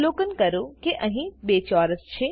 અવલોકન કરો કે અહી 2 ચોરસ છે